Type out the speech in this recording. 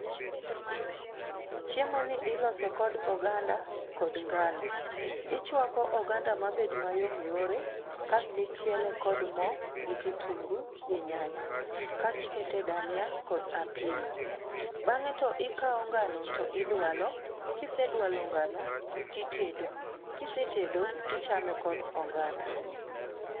Chiemo ni ilose kod oganda kod ngano. Ichuako oganda mabed yom yore kastichiele kod mo gi kitungu gi nyanya, kastiketo dhania kod apilo. Bange to ikao ngano to idualo. kisedualo ngano titedo. Kisetedo tichame kod oganda.